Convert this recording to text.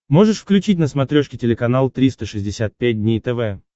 можешь включить на смотрешке телеканал триста шестьдесят пять дней тв